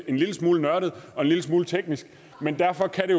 en lille smule nørdet og en lille smule teknisk men derfor kan det